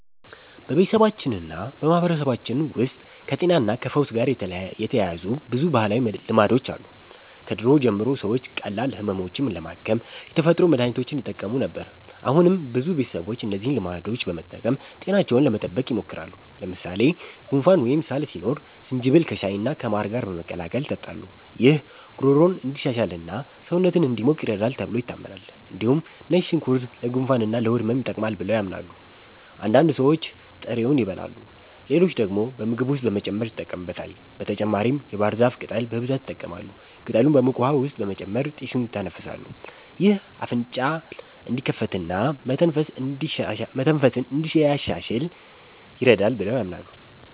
በቤተሰባችንና በማህበረሰባችን ውስጥ ከጤናና ከፈውስ ጋር የተያያዙ ብዙ ባህላዊ ልማዶች አሉ። ከድሮ ጀምሮ ሰዎች ቀላል ህመሞችን ለማከም የተፈጥሮ መድሀኒቶችን ይጠቀሙ ነበር። አሁንም ብዙ ቤተሰቦች እነዚህን ልማዶች በመጠቀም ጤናቸውን ለመጠበቅ ይሞክራሉ። ለምሳሌ ጉንፋን ወይም ሳል ሲኖር ዝንጅብል ከሻይና ከማር ጋር በመቀላቀል ይጠጣሉ። ይህ ጉሮሮን እንዲሻሽልና ሰውነትን እንዲሞቅ ይረዳል ተብሎ ይታመናል። እንዲሁም ነጭ ሽንኩርት ለጉንፋንና ለሆድ ህመም ይጠቅማል ብለው ያምናሉ። አንዳንድ ሰዎች ጥሬውን ይበላሉ፣ ሌሎች ደግሞ በምግብ ውስጥ በመጨመር ይጠቀሙበታል። በተጨማሪም የባህር ዛፍ ቅጠል በብዛት ይጠቀማሉ። ቅጠሉን በሙቅ ውሃ ውስጥ በመጨመር ጢሱን ይተነፍሳሉ። ይህ አፍንጫን እንዲከፍትና መተንፈስን እንዲያሻሽል ይረዳል ብለው ያምናሉ።